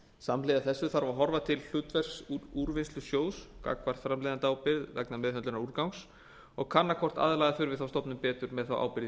samhliða þessu þarf að horfa til hlutverks úrvinnslusjóðs gagnvart framleiðendaábyrgð vegna meðhöndlunar úrgangs og kanna hvort aðlaga þurfi þá stofnun betur með þá ábyrgð í